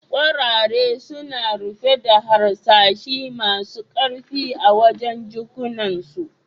Kwarare suna rufe da harsashi masun karfi a wajen' jikunan su.